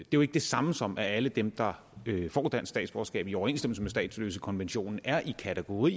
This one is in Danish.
jo ikke det samme som at alle dem der får dansk statsborgerskab i overensstemmelse med statsløsekonventionen er i kategori